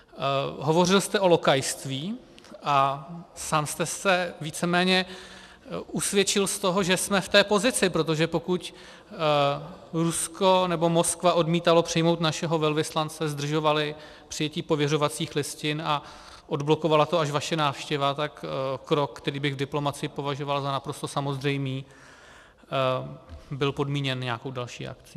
Hovořil jste o lokajství a sám jste se víceméně usvědčil z toho, že jsme v té pozici, protože pokud Rusko nebo Moskva odmítaly přijmout našeho velvyslance, zdržovaly přijetí pověřovacích listin a odblokovala to až vaše návštěva, tak krok, který bych v diplomacii považoval za naprosto samozřejmý, byl podmíněn nějakou další akcí.